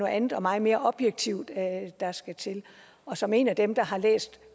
andet og meget mere objektivt der skal til og som en af dem der har læst